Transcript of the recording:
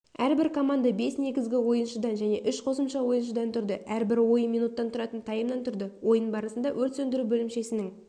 әрбір команда бес негізгі ойыншыдан және үш қосымша ойыншыдан тұрды әрбір ойын минуттан тұратын таймнан тұрды ойын барысында өрт сөндіру бөлімшесінің